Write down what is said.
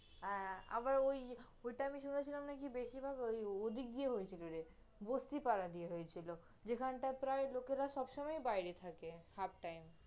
এ আবার ওটা আমি শুনেছিলাম নাকি বেশিরভাগ ওদিক দিয়ে হয়েছিল রে, বস্তি পাড়া দিয়ে হয়েছিল, যেখানটায় প্রায় লোকেরা সবসময়ই বাইরে থাকে, half time